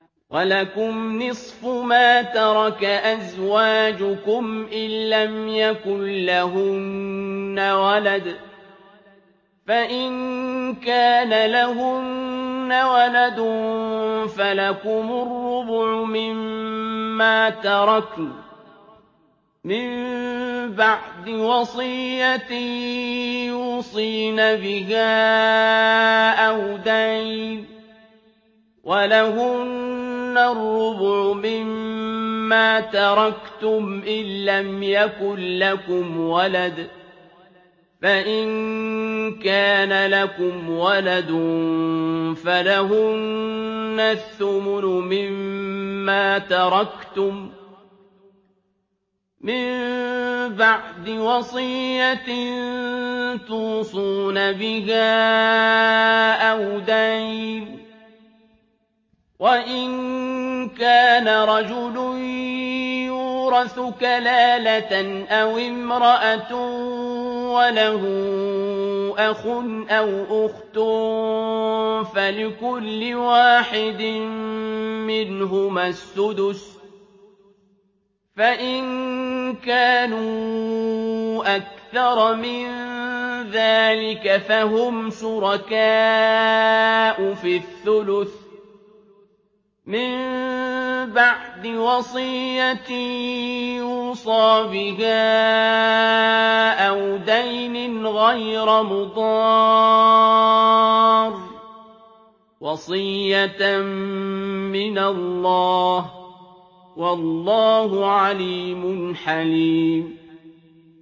۞ وَلَكُمْ نِصْفُ مَا تَرَكَ أَزْوَاجُكُمْ إِن لَّمْ يَكُن لَّهُنَّ وَلَدٌ ۚ فَإِن كَانَ لَهُنَّ وَلَدٌ فَلَكُمُ الرُّبُعُ مِمَّا تَرَكْنَ ۚ مِن بَعْدِ وَصِيَّةٍ يُوصِينَ بِهَا أَوْ دَيْنٍ ۚ وَلَهُنَّ الرُّبُعُ مِمَّا تَرَكْتُمْ إِن لَّمْ يَكُن لَّكُمْ وَلَدٌ ۚ فَإِن كَانَ لَكُمْ وَلَدٌ فَلَهُنَّ الثُّمُنُ مِمَّا تَرَكْتُم ۚ مِّن بَعْدِ وَصِيَّةٍ تُوصُونَ بِهَا أَوْ دَيْنٍ ۗ وَإِن كَانَ رَجُلٌ يُورَثُ كَلَالَةً أَوِ امْرَأَةٌ وَلَهُ أَخٌ أَوْ أُخْتٌ فَلِكُلِّ وَاحِدٍ مِّنْهُمَا السُّدُسُ ۚ فَإِن كَانُوا أَكْثَرَ مِن ذَٰلِكَ فَهُمْ شُرَكَاءُ فِي الثُّلُثِ ۚ مِن بَعْدِ وَصِيَّةٍ يُوصَىٰ بِهَا أَوْ دَيْنٍ غَيْرَ مُضَارٍّ ۚ وَصِيَّةً مِّنَ اللَّهِ ۗ وَاللَّهُ عَلِيمٌ حَلِيمٌ